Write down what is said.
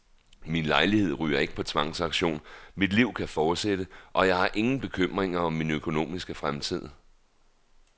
Min lejlighed ryger ikke på tvangsauktion, mit liv kan fortsætte, og jeg har ingen bekymringer om min økonomiske fremtid.